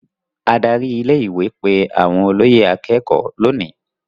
Adarí ilé-ìwé pe àwọn olóyè akékọ̀ọ́ lónìí.